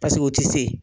Paseke u ti se